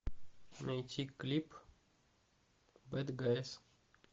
найти клип бэд гайс